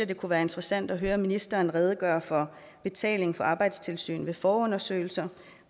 det kunne være interessant at høre ministeren redegøre for betaling for arbejdstilsyn ved forundersøgelser